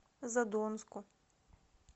задонску